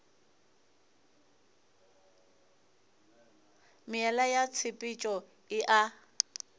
meela ya tshepetšo e a